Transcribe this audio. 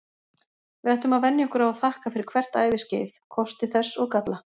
Við ættum að venja okkur á að þakka fyrir hvert æviskeið, kosti þess og galla.